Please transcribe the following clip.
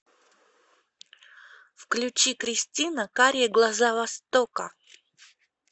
включи кристина карие глаза востока